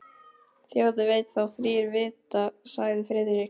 Þjóð veit þá þrír vita sagði Friðrik.